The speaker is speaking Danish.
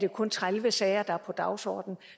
jo kun tredive sager der er på dagsordenen